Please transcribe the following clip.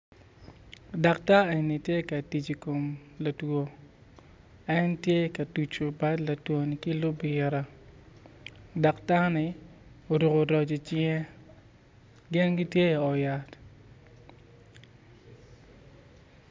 Daktar eni tye ka tic i kom latwo en tye ka tuco bad latwo ni ki lubira daktar ni oruko roc i cinge gin gitye i ot yat